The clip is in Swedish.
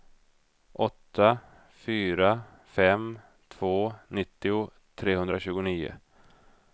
åtta fyra fem två nittio trehundratjugonio